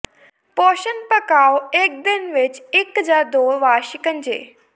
ਪੋਸ਼ਣ ਪਕਾਓ ਇੱਕ ਦਿਨ ਵਿੱਚ ਇੱਕ ਜਾਂ ਦੋ ਵਾਰ ਸ਼ਿਕੰਜੇ